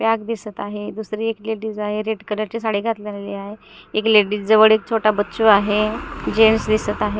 Bag दिसत आहे दुसरी एक ए लेडीज आहे रेड कलरची साडी घातलेली आहे एक लेडीज जवळ एक छोटा बच्चु आहे जेंट्स दिसत आहे.